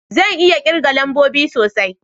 Zan iya kirga lambobi sosai